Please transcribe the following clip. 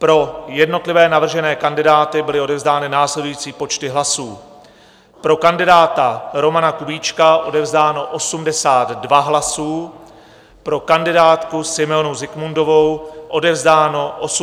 Pro jednotlivé navržené kandidáty byly odevzdány následující počty hlasů: pro kandidáta Romana Kubíčka odevzdáno 82 hlasů, pro kandidátku Simeonu Zikmundovou odevzdáno 84 hlasů.